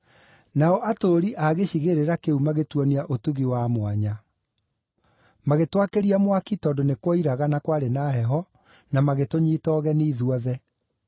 Nao atũũri a gĩcigĩrĩra kĩu magĩtuonia ũtugi wa mwanya. Magĩtwakĩria mwaki tondũ nĩ kuoiraga na kwarĩ na heho na magĩtũnyiita ũgeni ithuothe.